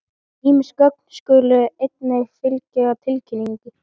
Ýmis gögn skulu einnig fylgja tilkynningu.